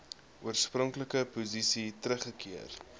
oorspronklike posisie teruggekeer